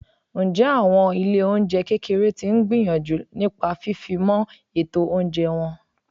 Ǹjẹ́ àwọn ilé oúnjẹ kékeré tí ń gbìyànjú nípa fifimo ètò oúnjẹ wọn?